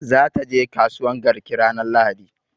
Za ta je kasuwan garki ranar lahadi